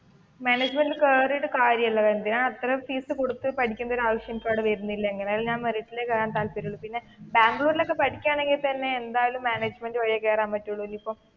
മാനേജ്മെന്റിൽ കേറിയിട്ട് കാര്യമില്ല വെറുതെ എന്തിനാണ് അത്രയും ഫീസ് കൊടുത്തു പഠിക്കേണ്ട ആവശ്യം എനിക്ക് അവിടെ വരുന്നില്ല എന്തായാലും ഞാൻ മെറിറ്റിൽ കേറാനെ താല്പര്യമുള്ളു പിന്നെ ബാംഗ്ലൂരിൽ ഒക്കെ പഠിക്കുകയാണെങ്കിൽ തന്നെ, എന്തായാലും മാനേജ്‍മെന്റ് വഴിയേ കേറാൻ പറ്റുള്ളൂ ഇനിയിപ്പോ